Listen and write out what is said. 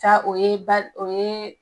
Ca o ye ba o yee